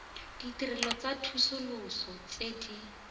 ditirelo tsa tsosoloso tse di